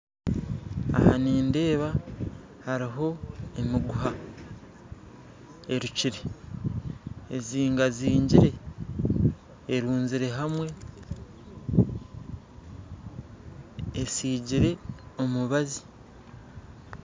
Aha nindeeba hariho emiguha erukyire, ezingazingyire eruzirwe hamwe, esigyirwe omubazi